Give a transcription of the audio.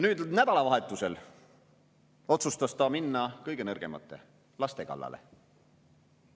Nüüd, nädalavahetusel, otsustas ta minna kõige nõrgemate, laste kallale.